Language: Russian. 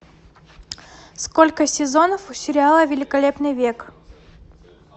сколько сезонов у сериала великолепный век